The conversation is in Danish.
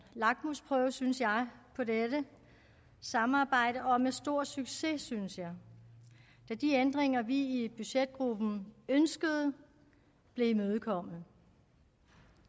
lakmusprøve synes jeg på dette samarbejde og med stor succes synes jeg da de ændringer vi i budgetgruppen ønskede blev imødekommet